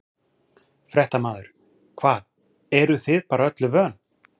Fréttamaður: Hvað, eruð þið bara öllu vön?